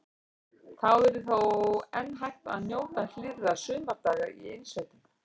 Þá yrði þó enn hægt að njóta hlýrra sumardaga í innsveitum.